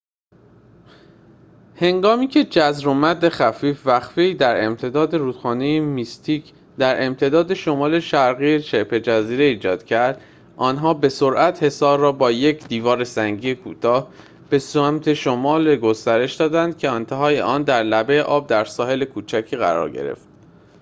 هنگامی که جزر و مد خفیف وقفه‌ای در امتداد رودخانه میستیک در امتداد شمال شرقی شبه جزیره ایجاد کرد آن‌ها به سرعت حصار را با یک دیوار سنگی کوتاه به سمت شمال گسترش دادند که انتهای آن در لبه آب در ساحل کوچکی قرار گرفت